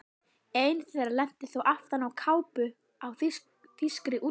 Ein þeirra lenti þó aftan á kápu á þýskri útgáfu.